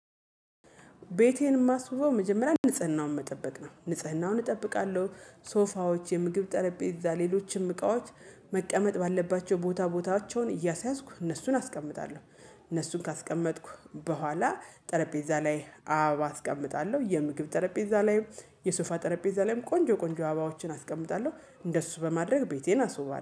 ቤቴን የማስውበው መጀመሪያ ንጽህናውን መጠበቅ ነው ንጽህናውን እጠብቃለሁ። ሶፋዎች የምግብ ጠረጴዛ ሌሎችም እቃዎች መቀመጥ ባለባቸው ቦታ ቦታቸውን እያሳያዝኩ እነሱን አስቀምጣለሁ። እነሱን ካስቀመጥኩ በኋላ ጠረጴዛ ላይ አበባ አስቀምጣለሁ የምግብ ጠረጴዛ ላይ የሶፋ ጠረጴዛ ላይም ቆንጆ ቆንጆ አበባዎችን አስቀምጣለሁ። እንደሱ በማድረግ ቤቴን አስውባለሁ